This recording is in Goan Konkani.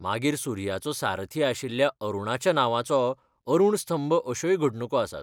मागीर सूर्याचो सारथी आशिल्ल्या अरुणाच्या नांवाचो अरुण स्तंभ अश्योय घडणुको आसात.